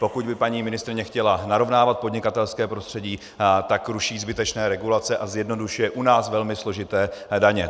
Pokud by paní ministryně chtěla narovnávat podnikatelské prostředí, tak ruší zbytečné regulace a zjednodušuje u nás velmi složité daně.